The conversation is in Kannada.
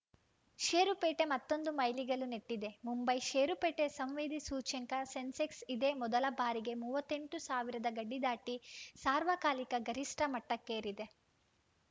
ಷೇರುಪೇಟೆ ಮತ್ತೊಂದು ಮೈಲಿಗಲ್ಲು ನೆಟ್ಟಿದೆ ಮುಂಬೈ ಷೇರುಪೇಟೆ ಸಂವೇದಿ ಸೂಚ್ಯಂಕ ಸೆನ್ಸೆಕ್ಸ್‌ ಇದೇ ಮೊದಲ ಬಾರಿಗೆ ಮೂವತ್ತ್ ಎಂಟು ಸಾವಿರದ ಗಡಿ ದಾಟಿ ಸಾರ್ವಕಾಲಿಕ ಗರಿಷ್ಠ ಮಟ್ಟಕ್ಕೇರಿದೆ